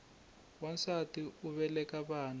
nwansati u veleka vana